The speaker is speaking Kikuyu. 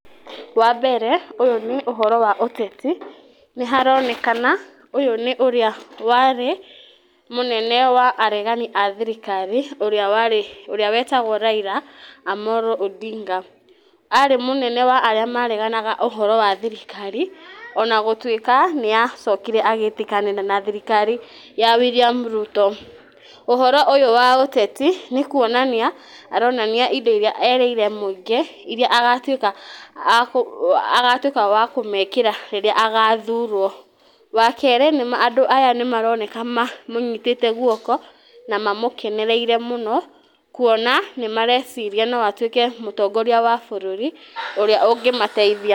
Wa mbere ũyũ nĩ ũhoro wa ũteti nĩ haronekana ũyũ nĩ ũrĩa warĩ mũregani wa thirikari ũrĩa wetagwo Raila Amolo Ondinga. Ari mũnene wa arĩa mareganaga ũhoro wa thirikari ona gũtuĩka nĩ acokire agĩtĩkanĩra na thirikari ya William Ruto. Ũhoro ũyũ wa ũteti nĩ kuonania aronania indo iria erĩire mũingĩ iria agatuĩka wa kũmekĩra rĩrĩa agathurwo. Wa kerĩ andũ aya nĩ maroneka mamũnyitĩte guoko na mamũkenereire mũno kuona nĩ mareciria no atuĩke mũtongoria wa bũrũri ũrĩa ũngĩmateithia.